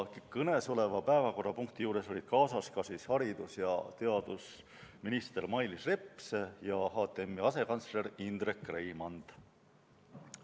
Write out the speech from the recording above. Kõnesoleva päevakorrapunkti arutelu juures olid ka haridus- ja teadusminister Mailis Reps ja HTM-i asekantsler Indrek Reimand.